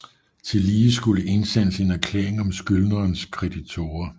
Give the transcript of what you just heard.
Tillige skulle indsendes en erklæring fra skyldnerens kreditorer